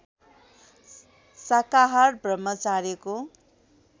शाकाहार र ब्रह्मचार्यको